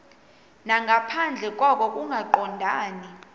nangaphandle koko kungaqondani